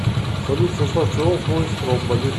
салют в состав чего входит стромболи